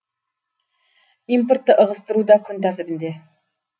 импортты ығыстыру да күн тәртібінде